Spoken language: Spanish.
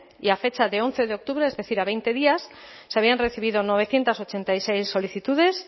y a fecha de once de octubre es decir a veinte días se habían recibido novecientos ochenta y seis solicitudes